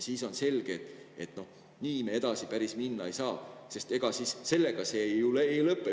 Siis on selge, et nii me edasi päris minna ei saa, sest ega siis sellega see ei lõpe.